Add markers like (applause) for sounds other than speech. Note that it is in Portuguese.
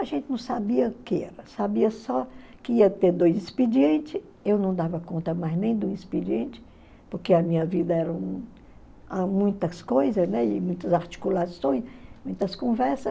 A gente não sabia o que era, sabia só que ia ter dois expedientes, eu não dava conta mais nem de um expediente, porque a minha vida era (unintelligible) muitas coisas, né e muitas articulações, muitas conversas.